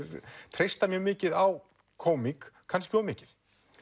treyst mjög mikið á kómík kannski of mikið